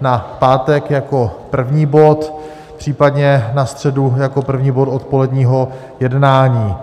na pátek jako první bod, případně na středu jako první bod odpoledního jednání.